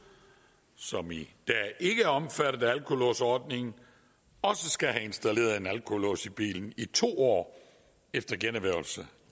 som i dag ikke er omfattet af alkolåsordningen også skal have installeret en alkolås i bilen i to år efter generhvervelse